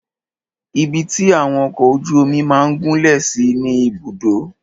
Ibi tí àwọn ọkọ ojú omi máà gúnlẹ̀ sí ni Ibùdó.